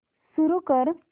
सुरू कर